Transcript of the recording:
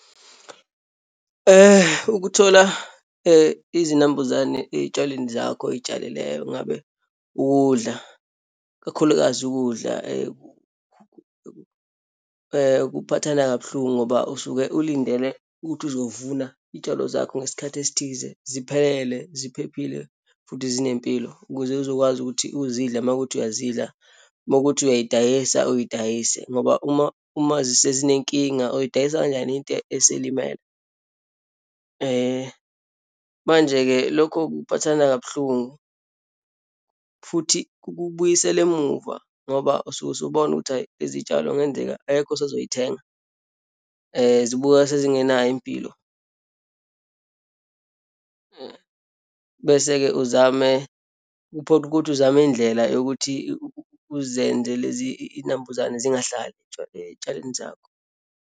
Ukuthola izinambuzane eyitshalweni zakho oyitshalileyo, ngabe ukudla, kakhulukazi ukudla kuphathana kabuhlungu ngoba usuke ulindele ukuthi izovuna iyitshalo zakho ngesikhathi esithize, ziphelele, ziphephile futhi zinempilo, ukuze uzokwazi ukuthi uzidle uma kuwukuthi iyazidla, uma kuwukuthi uyayidayisa, uyidayise ngoba uma, uma sezinenkinga, uyodayisa kanjani into eselimele. Manje-ke, lokho kuphathana kabuhlungu futhi kukubuyisela emuva ngoba usuke usubona ukuthi, hhayi lezi tshalo ngenzeka akekho usazoyithenga, zibukeka sezingenayo impilo. Bese-ke uzame, kuphoqe ukuthi uzame indlela yokuthi uzenze lezi iyinambuzane zingahlali eyitshalweni zakho.